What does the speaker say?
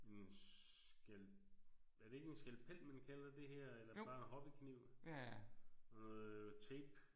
En skal er det ikke en skalpel man kalder det her eller det bare en hobbykniv? Og tape